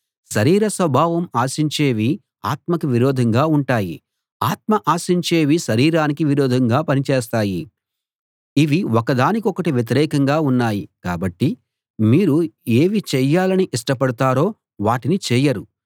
శరీర స్వభావం ఆశించేవి ఆత్మకు విరోధంగా ఉంటాయి ఆత్మ ఆశించేవి శరీరానికి విరోధంగా పని చేస్తాయి ఇవి ఒకదాని కొకటి వ్యతిరేకంగా ఉన్నాయి కాబట్టి మీరు ఏవి చేయాలని ఇష్టపడతారో వాటిని చేయరు